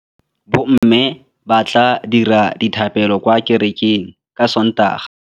Bommê ba tla dira dithapêlô kwa kerekeng ka Sontaga.